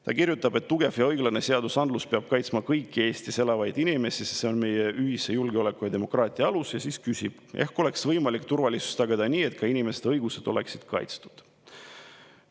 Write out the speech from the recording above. Ta kirjutab, et tugev ja õiglane seadusandlus peab kaitsma kõiki Eestis elavaid inimesi, sest see on meie ühise julgeoleku ja demokraatia alus, ning siis ta küsib: äkki oleks olnud võimalik turvalisust tagada nii, et ka inimeste õigused oleksid kaitstud?